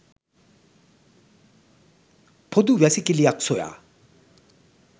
පොදු වැසිකිලියක් සොයා